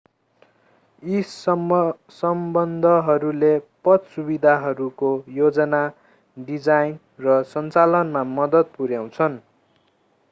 यी सम्बन्धहरूले पथ सुविधाहरूको योजना डिजाइन र सञ्चालनमा मद्दत पुर्‍याउँछन्।